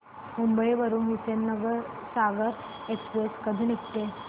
मुंबई वरून हुसेनसागर एक्सप्रेस कधी निघते